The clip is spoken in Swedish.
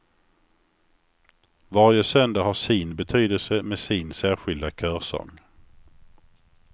Varje söndag har sin betydelse med sin särskilda körsång.